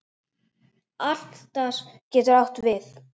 Atlas getur átt við